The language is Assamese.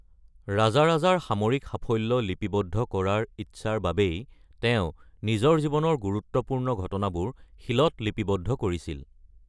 ৰাজৰাজৰ সামৰিক সাফল্য লিপিবদ্ধ কৰাৰ ইচ্ছাৰ বাবেই তেওঁ নিজৰ জীৱনৰ গুৰুত্বপূৰ্ণ ঘটনাবোৰ শিলত লিপিবদ্ধ কৰিছিল।